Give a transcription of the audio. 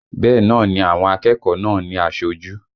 Bẹ́ẹ̀ náà ni àwọn akẹ́kọ̀ọ́ náà ní aṣojú